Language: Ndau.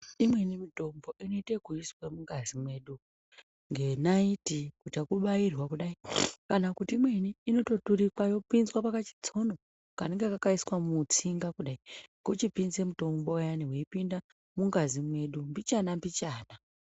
Imweni mitombo inoitwe yekuiswa mungazi medu ngenaiti ngekubairwa kudayi, kana kuti imweni inoita kubairwa mutsono yochipinda mbichana mbichana